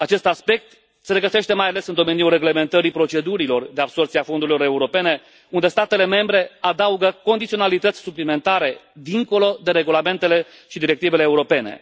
Acest aspect se regăsește mai ales în domeniul reglementării procedurilor de absorbție a fondurilor europene, unde statele membre adaugă condiționalități suplimentare, dincolo de regulamentele și directivele europene.